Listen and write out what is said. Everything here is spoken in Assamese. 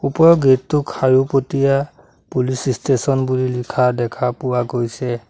ওপৰৰ গেট টো খাৰুপতিয়া পুলিচ ষ্টেচন বুলি লিখা দেখা পোৱা গৈছে।